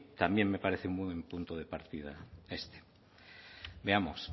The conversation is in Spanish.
también me parece un buen punto de partida este veamos